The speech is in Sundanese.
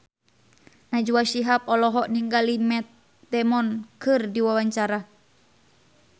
Najwa Shihab olohok ningali Matt Damon keur diwawancara